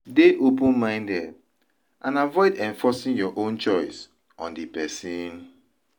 Dey open minded and avoid enforcing your own choice on di person